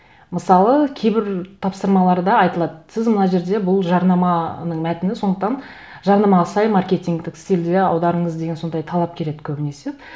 мысалы кейбір тапсырмаларда айтылады сіз мына жерде бұл жарнаманың мәтіні сондықтан жарнамаға сай маркетингтік сильде аударыңыз деген сондай талап келеді көбінесе